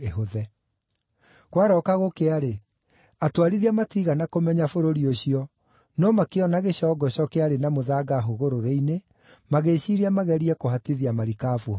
Kwarooka gũkĩa-rĩ, atwarithia matiigana kũmenya bũrũri ũcio, no makĩona gĩcongoco kĩarĩ na mũthanga hũgũrũrũ-inĩ, magĩĩciiria magerie kũhatithia marikabu ho.